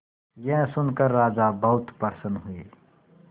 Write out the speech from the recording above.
यह सुनकर राजा बहुत प्रसन्न हुए